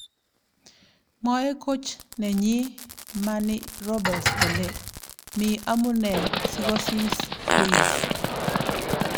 Mwae coach nenyi ,Manny Robbles kole "mi amunee " si kosiis Ruiz.